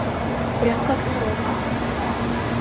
прям как на рок